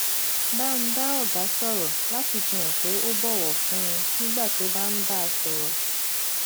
bá ń bá ọga sòrò láti fi hàn pé ó bòwò fún un nígbà tó bá ń bá a sòrò